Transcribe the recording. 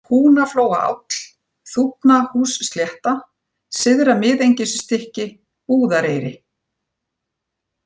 Húnaflóaáll, Þúfnahússlétta, Syðra-Miðengisstykki, Búðareyri